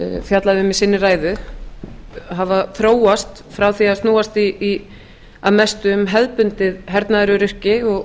fjallaði um í sinni ræðu hafa þróast frá því að snúast að mestu um hefðbundið hernaðaröryggi og